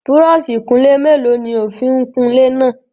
Búrọ́ọ̀ṣì ìkunlé mélòó ni o fi ń kun ilé náà?